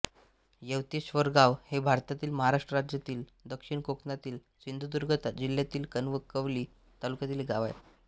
येवतेश्वरगाव हे भारतातील महाराष्ट्र राज्यातील दक्षिण कोकणातील सिंधुदुर्ग जिल्ह्यातील कणकवली तालुक्यातील एक गाव आहे